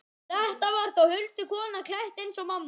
Þetta var þá huldukona, klædd eins og mamma.